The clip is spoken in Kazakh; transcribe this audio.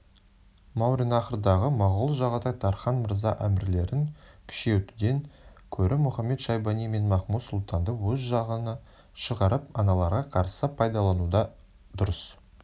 мауреннахрдағы моғол жағатай тархан мырза әмірлерін күшейтуден көрі мұхамед-шайбани мен махмуд-сұлтанды өз жағына шығарып аналарға қарсы пайдалануды дұрыс